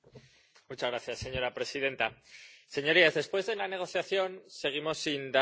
Señora presidenta, señorías, después de la negociación seguimos sin dar la talla.